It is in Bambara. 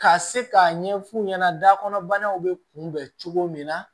Ka se k'a ɲɛf'u ɲɛna da kɔnɔ banaw bɛ kunbɛn cogo min na